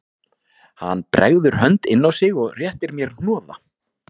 Hann bregður hönd inn á sig og réttir mér hnoða